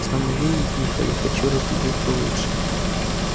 останови их михаил хочу разглядеть получше